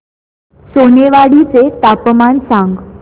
सोनेवाडी चे तापमान सांग